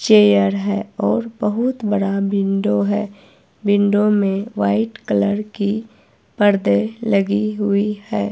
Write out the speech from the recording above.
Chair है और बहुत बड़ा विंडो है विंडो में वाइट कलर की पर्दे लगी हुई है।